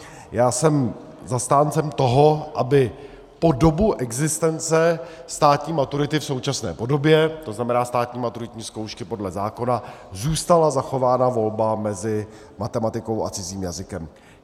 Já jsem zastáncem toho, aby po dobu existence státní maturity v současné podobě, to znamená státní maturitní zkoušky podle zákona, zůstala zachována volba mezi matematikou a cizím jazykem.